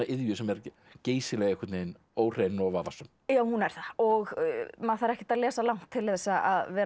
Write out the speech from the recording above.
sem er geysilega óhrein og vafasöm já hún er það og maður þarf ekkert að lesa langt til þess að vera